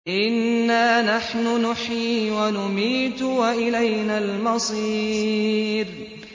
إِنَّا نَحْنُ نُحْيِي وَنُمِيتُ وَإِلَيْنَا الْمَصِيرُ